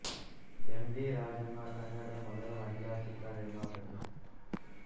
M V Rajamma ಕನ್ನಡದ ಮೊದಲ ಮಹಿಳಾ ಚಿತ್ರ ನಿರ್ಮಾಪಕಿ